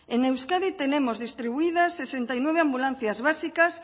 en euskadi tenemos distribuidas sesenta y nueve ambulancias básicas